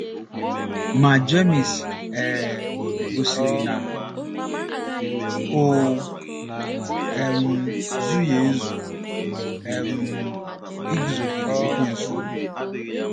Ma Jemis um gosiri na o um zughị ezu ' um iguzogide Ekwensu. '